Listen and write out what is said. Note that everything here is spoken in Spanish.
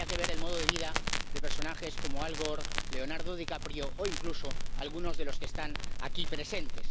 Y solo habría que ver el modo de vida de personajes como Al Gore, Leonardo DiCaprio o incluso algunos de los que están aquí presentes.